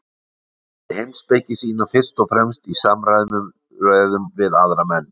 Hann stundaði heimspeki sína fyrst og fremst í samræðum við aðra menn.